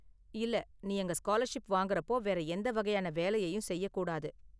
இல்ல, நீ அங்க ஸ்காலர்ஷிப் வாங்குறப்போ வேற எந்த வகையான வேலையையும் செய்யக் கூடாது.